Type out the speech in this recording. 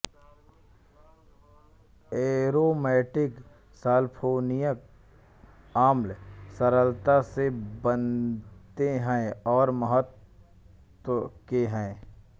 aromatic sulphonic अम्ल सरलता से बनते हैं और महत्व के हैं